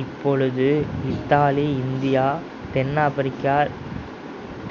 இப்பொழுது Italy India தென் America